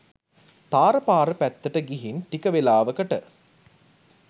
තාර පාර පැත්තට ගිහින් ටික වේලාවකට